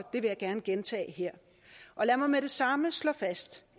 vil jeg gerne gentage her lad mig med det samme slå fast